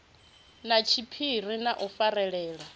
na tshiphiri na u farelana